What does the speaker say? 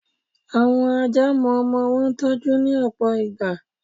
Àwọn Ajá mo ọmọ wọn tọ́jú, ní òpò ìgbà.